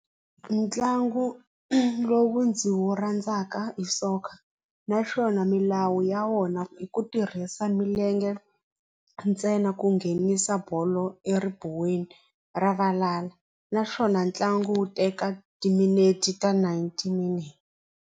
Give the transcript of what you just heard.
Ntlangu lowu ndzi wu rhandzaka i soccer naswona milawu ya wona i ku tirhisa milenge ntsena ku nghenisa bolo eribuweni ra valala naswona ntlangu wu teka timinete ninety .